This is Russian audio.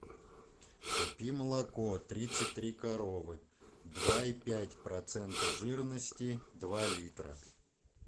купи молоко тридцать три коровы два и пять процента жирности два литра